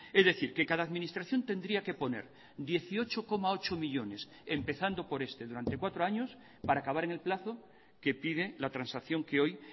es decir que cada administración tendría que poner dieciocho coma ocho millónes empezando por este durante cuatro años para acabar en el plazo que pide la transacción que hoy